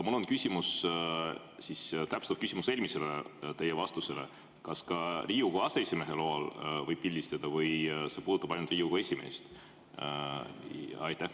Mul on täpsustav küsimus eelmisele vastusele: kas ka Riigikogu aseesimehe loal võib pildistada või see puudutab ainult Riigikogu esimeest?